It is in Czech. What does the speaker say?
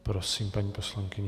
Prosím, paní poslankyně.